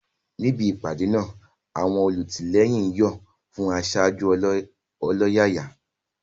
Níbi ìpàdé náà, àwọn olùtìlẹ́yìn ń yọ̀ fún aṣáájú ọlọ́yàyà.